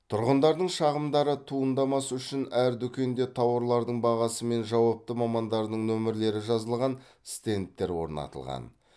тұрғындардың шағымдары туындамас үшін әр дүкенде тауарлардың бағасы мен жауапты мамандардың нөмірлері жазылған стендтер орнатылған